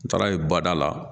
N taara ye bada la